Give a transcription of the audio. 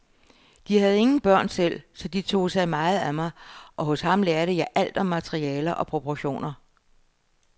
De havde ingen børn selv, så de tog sig meget af mig, og hos ham lærte jeg alt om materialer og proportioner.